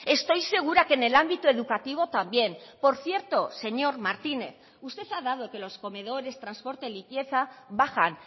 estoy segura que en el ámbito educativo también por cierto señor martínez usted ha dado que los comedores transporte limpieza bajan